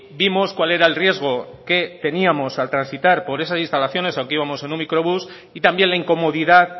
vimos cuál era el riesgo que teníamos al transitar por esas instalaciones aunque íbamos en un microbús y también la incomodidad